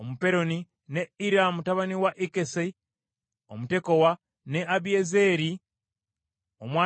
ne Ira mutabani wa Ikkesi Omutekowa, ne Abiyezeeri Omwanasosi,